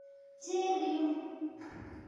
Chill yu